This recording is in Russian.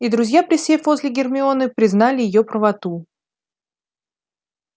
и друзья присев возле гермионы признали её правоту